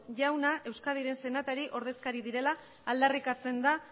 jauna euskadiren senatari ordezkari direla aldarrikatzen da